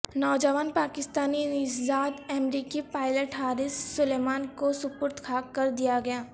نوجوان پاکستانی نژاد امریکی پائلٹ حارث سلیمان کو سپرد خاک کر دیا گیا